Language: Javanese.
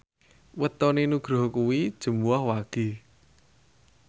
wetone Nugroho kuwi Jumuwah Wage